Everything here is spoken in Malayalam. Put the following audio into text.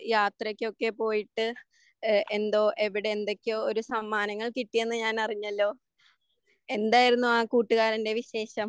യാത്രക്കൊക്കെ പോയിട്ട് ഏഹ് എന്തോ എവിടെ എന്തൊക്കെയോ ഒരു സമ്മാനങ്ങൾ കിട്ടിയെന്ന് ഞാനറിഞ്ഞല്ലോ എന്തായിരുന്നു ആ കൂട്ടുകാരൻ്റെ വിശേഷം?